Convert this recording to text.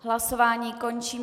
Hlasování končím.